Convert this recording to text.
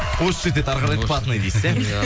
осы жерде әрі қарай платный дейсіз иә